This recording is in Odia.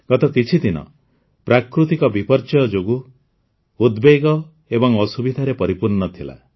ଗତ କିଛିଦିନ ପ୍ରାକୃତିକ ବିପର୍ଯ୍ୟୟ ଯୋଗୁଁ ଉଦ୍ବେଗ ଏବଂ ଅସୁବିଧାରେ ପରିପୂର୍ଣ୍ଣ ଥିଲା